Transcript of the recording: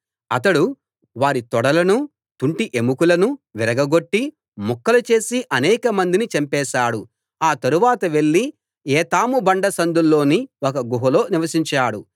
అతడు వారి తొడలనూ తుంటి ఎముకలనూ విరగగొట్టి ముక్కలు చేసి అనేకమందిని చంపేశాడు ఆ తరువాత వెళ్లి ఏతాము బండ సందుల్లోని ఒక గుహలో నివసించాడు